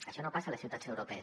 això no passa a les ciutats europees